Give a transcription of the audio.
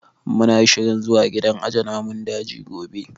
Mu na shirin zuwa gidan aje namun daji gobe